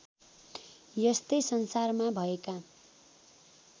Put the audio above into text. यस्तै संसारमा भएका